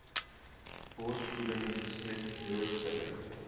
borsvoeding besmet blootstelling